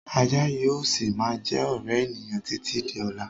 Ajá yìí ó síí má jẹ́ ọ̀rẹ́ ènìyàn títí di ọ̀la